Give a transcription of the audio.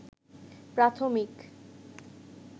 প্রাথমিক